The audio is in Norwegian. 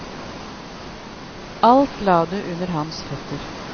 Alt la du under hans føtter.